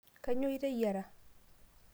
kainyio iteyiara